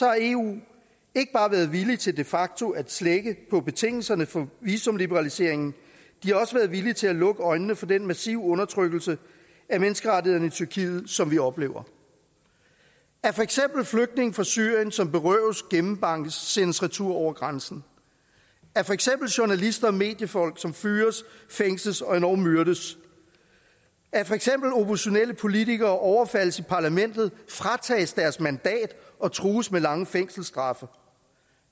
har eu ikke bare været villige til de facto at slække på betingelserne for visumliberaliseringen de har også været villige til at lukke øjnene for den massive undertrykkelse af menneskerettighederne i tyrkiet som vi oplever at for eksempel flygtninge fra syrien som berøves gennembankes sendes retur over grænsen at for eksempel journalister og mediefolk som fyres fængsles og endog myrdes at for eksempel oppositionelle politikere overfaldes i parlamentet fratages deres mandat og trues med lange fængselsstraffe